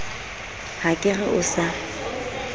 ha ke re o sa